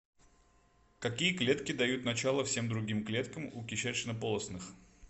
какие клетки дают начало всем другим клеткам у кишечнополостных